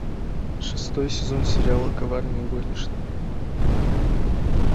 шестой сезон сериала коварные горничные